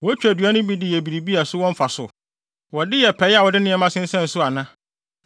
Wotwa dua no bi de yɛ biribi a so wɔ mfaso? Wɔde yɛ pɛe a wɔde nneɛma sensɛn so ana?